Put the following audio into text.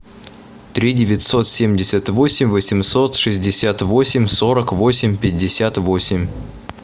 три девятьсот семьдесят восемь восемьсот шестьдесят восемь сорок восемь пятьдесят восемь